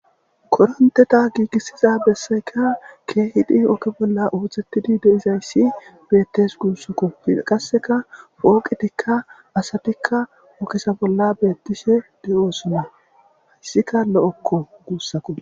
Koronteta gigisiza besayka Keehid oge bolla othetid dizays betes gusako. Qaseka pooqetika asatika oge bolla betishe de'osona. Haysika lo'oko gusuko.